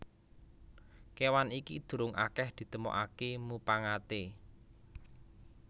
Kéwan iki durung akèh ditemokaké mupangaté